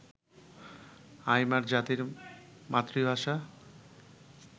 আইমার জাতির মাতৃভাষা